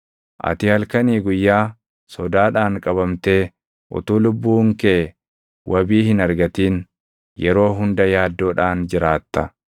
Ati halkanii guyyaa sodaadhaan qabamtee utuu lubbuun kee wabii hin argatin, yeroo hunda yaaddoodhaan jiraatta.